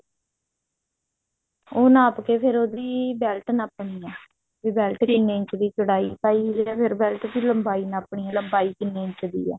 ਉਹ ਨਾਪ ਕੇ ਫ਼ੇਰ ਉਹਦੀ belt ਨਾਪ੍ਣੀ ਆ ਜੇ ਵੀ belt ਕਿੰਨੇ ਇੰਚ ਦੀ ਚੋੜਾਈ ਜਿਹੜਾ ਫ਼ੇਰ belt ਦੀ ਲੰਬਾਈ ਨਾਪ੍ਣੀ ਹੈ ਲੰਬਾਈ ਕਿੰਨੇ ਇੰਚ ਦੀ ਹੈ